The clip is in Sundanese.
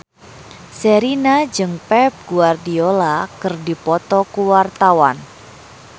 Sherina jeung Pep Guardiola keur dipoto ku wartawan